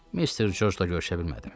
Mr. Corcla görüşə bilmədim.